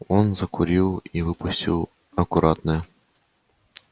он закурил и выпустил аккуратно